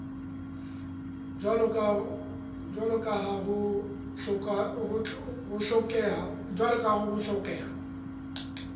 jwalo ka ha ho hlokeha